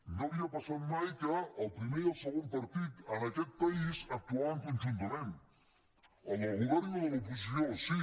no havia passat mai que el primer i el segon partit en aquest país actuessin conjuntament el del govern i el de l’oposició sí